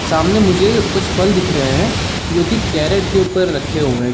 सामने मुझे कुछ फल दिख रहे हे। जो के केरेट के ऊपर रखे हुए हे।